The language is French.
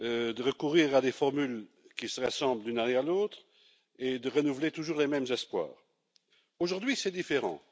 de recourir à des formules qui se ressemblent d'une année sur l'autre et de renouveler toujours les mêmes espoirs. Aujourd'hui, c'est différent.